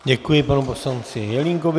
Děkuji panu poslanci Jelínkovi.